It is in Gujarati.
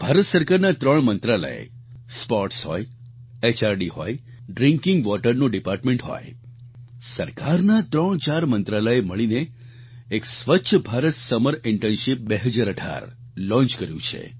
ભારત સરકારના ત્રણ મંત્રાલય સ્પોર્ટ્સ હોય એચઆરડી હોય ડ્રિંકિંગ વોટર નું ડિપાર્ટમેન્ટ હોય સરકારના ત્રણચાર મંત્રાલયે મળીને એક સ્વચ્છ ભારત સમર ઇન્ટર્નશીપ 2018 આ લોન્ચ કર્યું છે